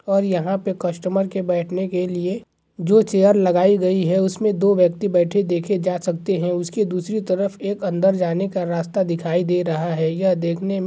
और यहाँ पे कस्टमर के बैठने के लिए जो चेयर लगाई गई है उसमें दो व्यक्ति बैठे देखे जा सकते हैं उसकी दूसरी तरफ एक अंदर जाने का रास्ता दिखाई दे रहा है यह देखने में --